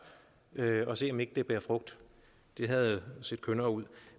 og se om ikke det bærer frugt det havde set kønnere ud